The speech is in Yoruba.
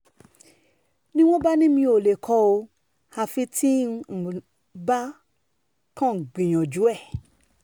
ni wọ́n bá ní mi ò lè kó o àfi tí n um bá kàn ń gbìyànjú um ẹ̀